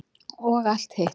Og allt hitt.